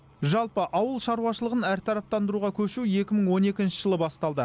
жалпы ауыл шарушылығын әртараптандыруға көшу екі мың он екінші жылы басталды